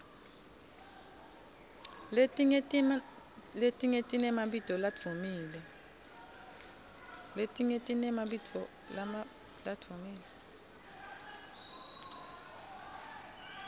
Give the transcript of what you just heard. letinye tinemabito ladvumile